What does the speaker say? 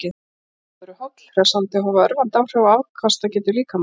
Sólböð eru holl, hressandi og hafa örvandi áhrif á afkastagetu líkamans.